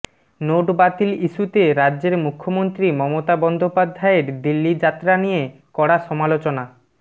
note বাতিল ইস্যুতে রাজ্যের মুখ্যমন্ত্রী মমতা বন্দ্যোপাধ্যায়ের দিল্লি যাত্রা নিয়ে কড়া সমালোচনা